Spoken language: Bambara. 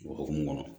O hokumu kɔnɔ